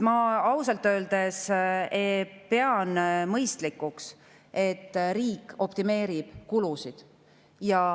Ma ausalt öeldes pean mõistlikuks, et riik optimeerib kulusid.